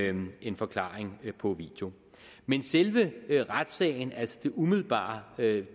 en en forklaring på video men selve retssagen altså det umiddelbare det